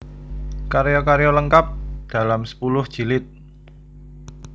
Karya karya lengkap dalam sepuluh jilid